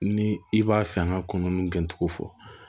Ni i b'a fɛ an ka kunun gɛn cogo fɔ